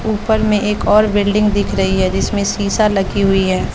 ऊपर में एक और बिल्डिंग दिख रही है जिसमें शीशा लगी हुई है।